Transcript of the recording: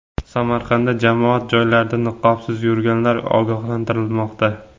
Samarqandda jamoat joylarida niqobsiz yurganlar ogohlantirilmoqda.